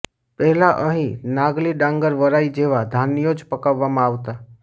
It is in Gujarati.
પહેલાં અહીં નાગલી ડાંગર વરાઇ જેવાં ધાન્યો જ પકવવામાં આવતાં